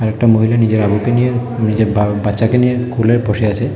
একটা মহিলা নিজের আবুকে নিয়ে নিজের বাচ্চাকে নিয়ে কুলে বসে আছে।